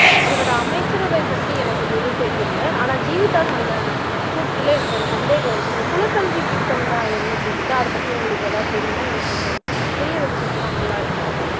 இவரோட அமைச்சரவை பத்தி எனக்கு எதுவும் தெரியலை ஆனா ஜீவிதா சொன்ன கூற்றுல எனக்கு ஒரு சந்தேகம் இருக்கு இந்த குலக்கல்வி திட்டம்னா என்ன ஜீவிதா அதைபத்தி உங்களுக்கு ஏதாவது தெரியுமா எனக்கு கொஞ்சம் புரிய வச்சீங்கன்னா நல்லா இருக்கும்